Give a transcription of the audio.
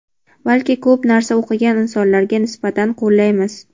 balki ko‘p narsa o‘qigan insonlarga nisbatan qo‘llaymiz.